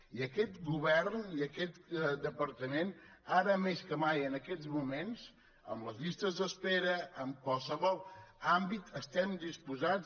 i aquest govern i aquest departament ara més que mai en aquests moments en les llistes d’espera en qualsevol àmbit estem disposats